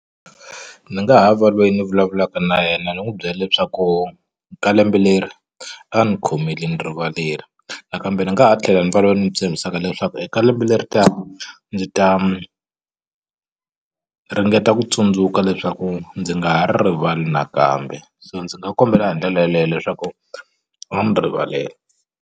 Ndzi nga ha va lweyi ndzi vulavulaka na yena ni n'wi byela leswaku ka lembe leri a ndzi khomeli ni rivaleli nakambe ndzi nga ha tlhela ni va loyi ni tshembisaka leswaku eka lembe leri ndzi ta ringeta ku tsundzuka leswaku ndzi nga ha ri rivali nakambe so ndzi nga kombela hi ndlela yeleyo leswaku va ni rivalela.